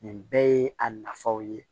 Nin bɛɛ ye a nafaw ye